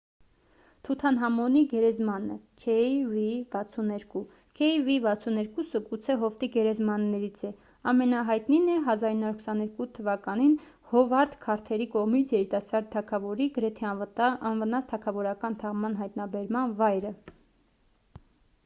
թութանհամոնի գերեզմանը kv62։ kv62-ը գուցե հովտի գերեզմաններից ամենահայտնին է՝ 1922 թ.-ին հովարդ քարթերի կողմից երիտասարդ թագավորի գրեթե անվնաս թագավորական թաղման հայտնաբերման վայրը։